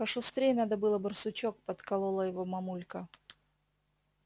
пошустрей надо было барсучок подколола его мамулька